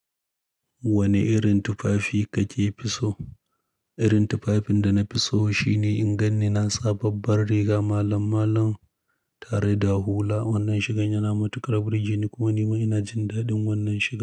Wane irin tufafi kake fi so? Irin tufafin da na fi so shine in ganni na sa babbar riga malm-malum tare da hula. Wannan shigan ya na matuƙar burge ne kuma nima ina jin daɗin wannan shiga.